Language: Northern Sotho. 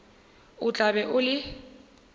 o tla be o le